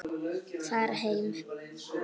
Fara heim?